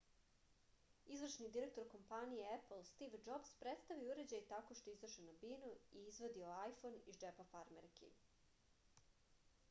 izvršni direktor kompanije epl stiv džobs predstavio je uređaj tako što je izašao na binu i izvadio ajfon iz džepa farmerki